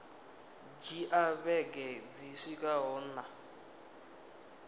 dzhia vhege dzi swikaho nṋa